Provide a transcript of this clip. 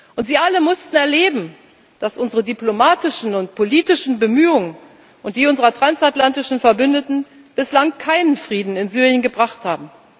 Und sie alle mussten erleben, dass unsere diplomatischen und politischen Bemühungen und die unserer transatlantischen Verbündeten bislang keinen Frieden in Syrien gebracht haben.